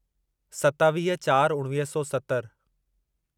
सतावीह चार उणिवीह सौ सतर